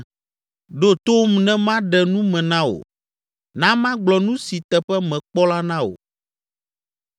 “Ɖo tom ne maɖe nu me na wò; na magblɔ nu si teƒe mekpɔ la na wò,